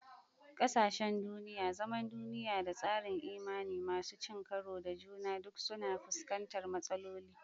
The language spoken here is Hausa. Ƙasashen duniya, zaman duniya, da tsarin imani masu cin karo da juna duk suna fuskantar matsaloli.